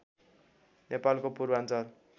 नेपालको पूर्वाञ्चल